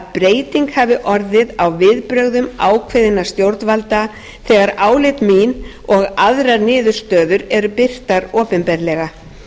breyting hafi orðið á viðbrögðum ákveðinna stjórnvalda þegar álit mín og aðrar niðurstöður eru birtar opinberlega